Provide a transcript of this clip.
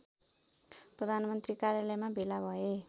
प्रधानमन्त्री कार्यालयमा भेला भए